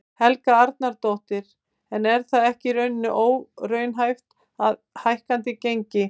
Helga Arnardóttir: En er það ekki í rauninni óraunhæft með hækkandi gengi?